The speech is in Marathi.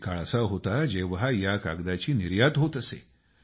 एक काळ असा होता की जेव्हा या कागदाची निर्यात होत असे